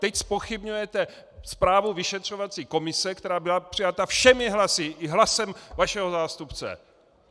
Teď zpochybňujete zprávu vyšetřovací komise, která byla přijata všemi hlasy, i hlasem vašeho zástupce!